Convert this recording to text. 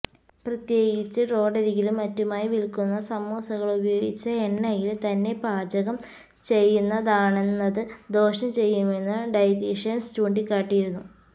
പ്രത്യേകിച്ച് റോഡരികിലും മറ്റുമായി വില്ക്കുന്ന സമോസകള് ഉപയോഗിച്ച എണ്ണയില് തന്നെ പാചകം ചെയ്യുന്നതാണെന്നത് ദോഷം ചെയ്യുമെന്നും ഡയറ്റീഷന്സ് ചൂണ്ടിക്കാട്ടിയിരുന്നു